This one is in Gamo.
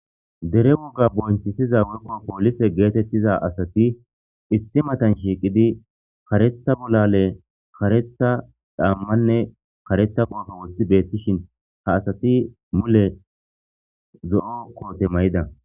dere wogga bonchisiza wukko poolise geetettiza asati issi matan shiiqidi karetha bolale karetha dhammanne karetha qoofo wothi beettishin ha asati mule zo7o koote may7ida